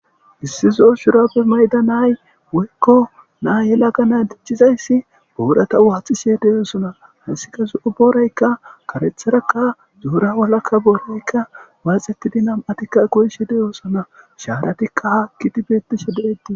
Issi zoo shurappe mayda nay woykko naa yelagana dicchizayssi boorata waaxishe deyoosona hassika zo7u booraykka karetharakka zuura walakka booraykka waaxetidi nam7atikka koyishe deyosona shaaratikka haakkidi beettishe de7etti.